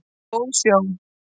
Góð sjón